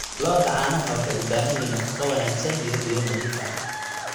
Lo'da caanaha waxay u baahan yihiin nafaqo wanaagsan iyo biyo nadiif ah.